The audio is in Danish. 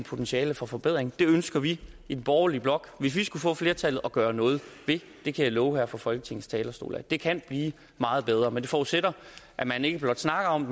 potentiale for forbedring det ønsker vi i den borgerlige blok hvis vi skulle få flertallet at gøre noget ved det kan jeg love her fra folketingets talerstol det kan blive meget bedre men det forudsætter at man ikke blot snakker om